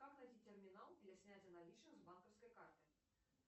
как найти терминал для снятия наличных с банковской карты